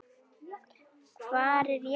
Hvar er Jakob?